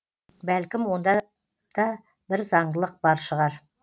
бәлкім онда да бір заңдылық бар шығар